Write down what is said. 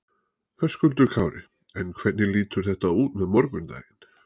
Höskuldur Kári: En hvernig lítur þetta út með morgundaginn?